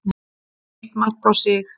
Eitt mark á sig.